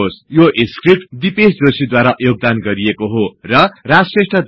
यो स्क्रिप्ट दिपेश जोशी द्धारा योगदान गरिएको अनुवादकर्ताको नाम हो